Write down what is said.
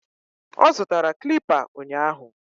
Ọ zụtara clipper ụnyahụ